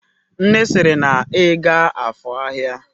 Nne siri na iga afor ahia!